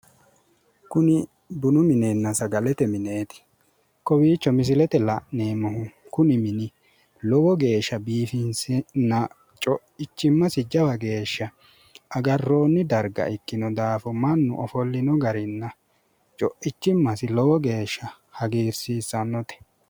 Kuni bunu minenna sagalete mineeti. Kowiicho misilete la'neemmohu kuni mini lowo geeshsha biiffinsenna co'ichimmasi jawa geeshsha agarroonni darga ikkino daafo mannu ofollino garinna co'ichimmasi lowo geeshsha hagiirsiissannote.